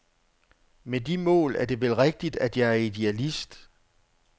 Med de mål er det vel rigtigt, at jeg er idealist.